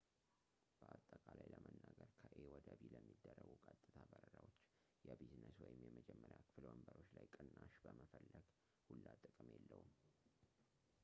በአጠቃላይ ለመናገር ከኤ ወደ ቢ ለሚደረጉ ቀጥታ በረራዎች የቢዝነስ ወይም የመጀመሪያ ክፍል ወንበሮች ላይ ቅናሽ መፈለግ ሁላ ጥቅም የለውም